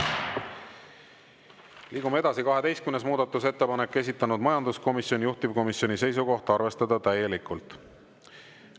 Liigume edasi, 12. muudatusettepanek, esitanud majanduskomisjon, juhtivkomisjoni seisukoht on arvestada täielikult.